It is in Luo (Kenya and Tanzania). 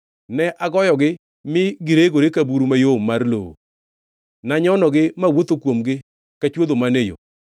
Ne agoyogi ma giregore ka buru mayom mar lowo; nanyonogi mawuotho kuomgi ka chwodho man e yo.